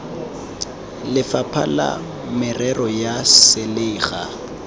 lefapha la merero ya selegae